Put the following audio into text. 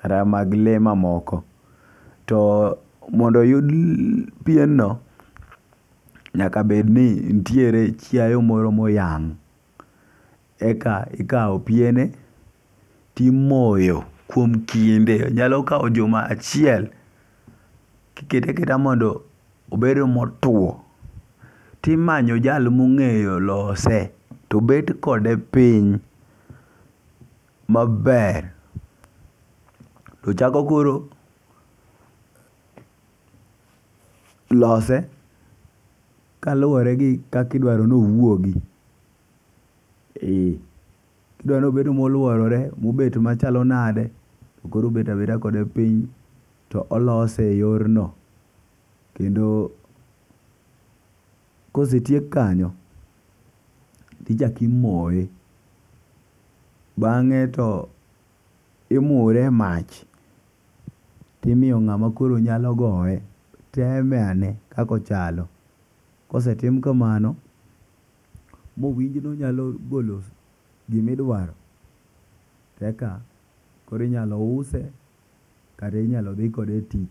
kata mag lee mamoko . To mondo oyud pienno , nyaka bed ni ntiere chiayo moro moyang' , eka ikawo piene timoyo kuom kinde nyalo kawo juma achiel kikete akata mondo obed motwo timanyo jal mong'eyo lose to bed kode piny maber to chako koro ,lose kaluwore gi kaka idwaro nowuogi. Idwaro bed moluorore mobet machalo nade koro obeda beda kode piny tolose e yor no. Kendo kosetiek kanyo tichaki moye , bang'e to imure emach imiyo ng'ama koro nyalo goye teme ane kakochalo .Kosetim kamano mowinjo nonyalo golo gimidwaro , eka kor inyalo use kata inyalo dhi kode e tich.